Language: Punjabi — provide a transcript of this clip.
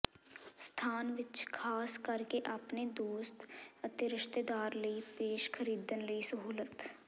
ਸਥਾਨ ਵਿਚ ਖ਼ਾਸ ਕਰਕੇ ਆਪਣੇ ਦੋਸਤ ਅਤੇ ਰਿਸ਼ਤੇਦਾਰ ਲਈ ਪੇਸ਼ ਖਰੀਦਣ ਲਈ ਸਹੂਲਤ